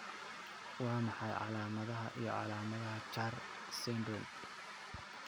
Waa maxay calaamadaha iyo calaamadaha Char syndrome?